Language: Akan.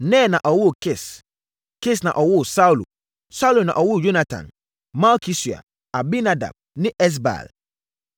Ner na ɔwoo Kis. Kis na ɔwoo Saulo, Saulo na ɔwoo Yonatan, Malki-Sua, Abinadab ne Esbaal.